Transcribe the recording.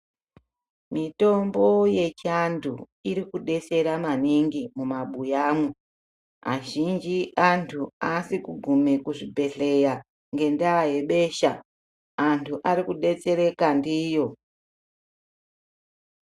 Mitombo yechantu irikudetsera maningi mumabuyamo. Azhinji antu asikugume kuzvibhedhleya ngendaya yebesha. Antu arikudetsereka ndiyo.